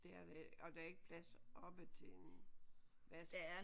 Det er der ikke og der er ikke plads oppe til en vask?